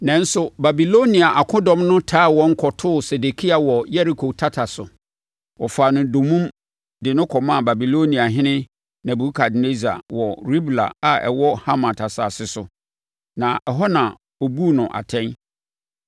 Nanso, Babilonia akodɔm no taa wɔn kɔtoo Sedekia wɔ Yeriko tata so. Wɔfaa no dommum de no kɔmaa Babiloniahene Nebukadnessar wɔ Ribla a ɛwɔ Hamat asase so, na ɛhɔ na ɔbuu no atɛn.